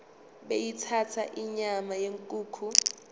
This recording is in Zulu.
beyithanda inyama yenkukhu